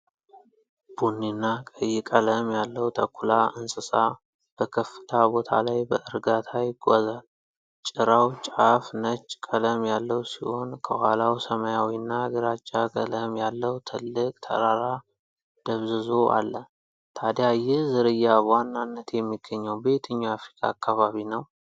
ቡኒና ቀይ ቀለም ያለው ተኩላ እንስሳ በከፍታ ቦታ ላይ በእርጋታ ይጓዛል። ጭራው ጫፍ ነጭ ቀለም ያለው ሲሆን፣ ከኋላው ሰማያዊና ግራጫ ቀለም ያለው ትልቅ ተራራ ደብዝዞ አለ። ታዲያ ይህ ዝርያ በዋናነት የሚገኘው በየትኛው የአፍሪካ አካባቢ ነው?